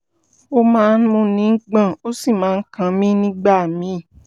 ó máa ń múni gbọ̀n ó sì máa ń kan mí nígbà míì